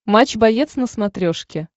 матч боец на смотрешке